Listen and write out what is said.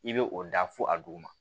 I bɛ o da fo a duguma